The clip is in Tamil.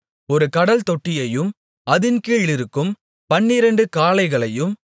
ஒரு கடல்தொட்டியையும் அதின் கீழிருக்கும் பன்னிரண்டு காளைகளையும்